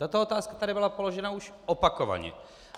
Tato otázka tady byla položena už opakovaně.